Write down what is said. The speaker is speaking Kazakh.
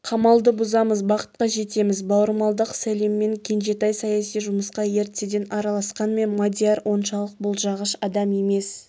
қамалды бұзамыз бақытқа жетеміз бауырмалдық сәлеммен кенжетай саяси жұмысқа ертеден араласқанмен мадияр оншалық болжағыш адам емес